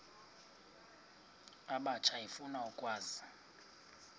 abatsha efuna ukwazi